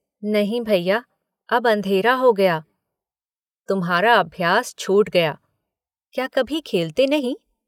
नहीं भैया अब अंधेरा हो गया। तुम्हारा अभ्यास छूट गया। क्या कभी खेलते नहीं?